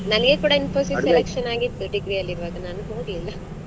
ನನಿಗೆ ಕೂಡ Infosys selection ಆಗಿತ್ತು degree ಅಲ್ಲಿರುವಾಗ ನಾನ್ ಹೋಗ್ಲಿಲ್ಲಾ.